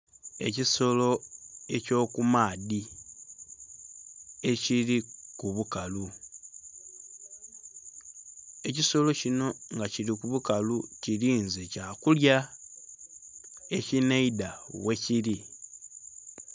Ekisolo ekyo ku maadhi ekili ku bukalu, ekisolo kinho nga kili ku bukalu nga kilinze kya kulya ekinheidha ghekili.